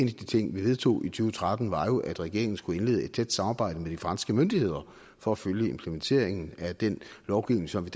de ting vi vedtog i to tretten var jo at regeringen skulle indlede et tæt samarbejde med de franske myndigheder for at følge implementeringen af den lovgivning som vi